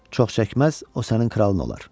Çox çəkməz, o sənin kralın olar.